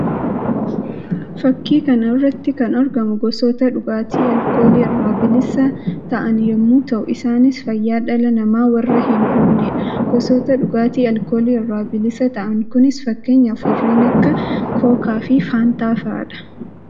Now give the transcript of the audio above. Fakkii kana irratti kan argamu gosoota dhugaatii alkoolii irraa bilisa ta'an yammuu ta'u; isaannis fayyaa dhala namaa warra hin hubnee dha. Gosoota dhugaatii alkoolii irraa bilisa ta'an kunis fakkeenyaaf warreen akka kookaa fi faantaa fa'aa dha.